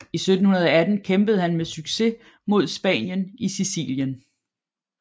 I 1718 kæmpede han med succes mod Spanien i Sicilien